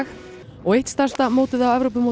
og eitt stærsta mótið á